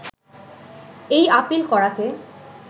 এই আপিল করাকে